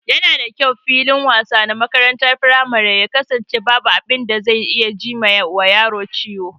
Yana da kyau filin wasa na makarantar firamare ya kasance babu abin da zai iya ji wa yaro ciwo